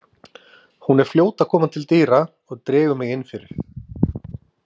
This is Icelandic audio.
Hún er fljót að koma til dyra og dregur mig inn fyrir.